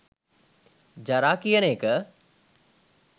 'ජරා" කියන එක